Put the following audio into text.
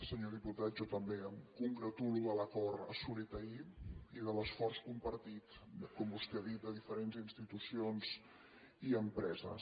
senyor diputat jo també em congratulo de l’acord assolit ahir i de l’esforç compartit com vostè ha dit de diferents institucions i empreses